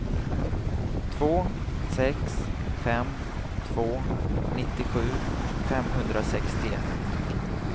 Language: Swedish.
två sex fem två nittiosju femhundrasextioett